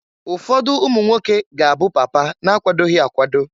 Ụfọdụ umunwoke ga-abụ papa na-akwadoghi akwado.